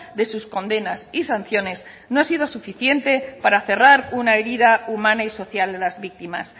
de sus condenas y sanciones no ha sido suficiente para cerrar una herida humana y social de las víctimas